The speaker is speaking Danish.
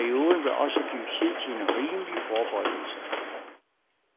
Perioden vil også give tid til en rimelig forberedelse.